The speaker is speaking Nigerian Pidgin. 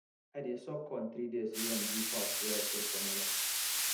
i dey soak corn three days use am do pap wey i sell for nylon